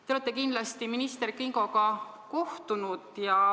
Te olete kindlasti minister Kingoga kohtunud.